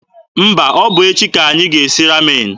Mba, ọ bụ echi ka anyị ga-esi Ramen.